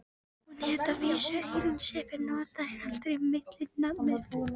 Hún hét að vísu Eyrún Sif en notaði aldrei millinafnið.